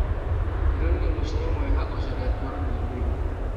Ndĩronire mũcoro mwega ũcurĩtio rũthingoinĩ.